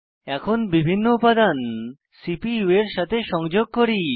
এখন বিভিন্ন উপাদান সিপিইউ এর সাথে সংযোগ করি